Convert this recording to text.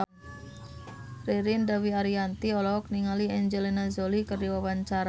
Ririn Dwi Ariyanti olohok ningali Angelina Jolie keur diwawancara